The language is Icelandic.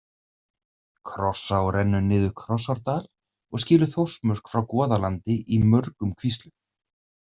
Krossá rennur niður Krossárdal og skilur Þórsmörk frá Goðalandi í mörgum kvíslum.